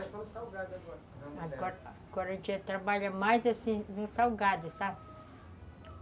Agora a gente trabalha mais assim no salgado, sabe?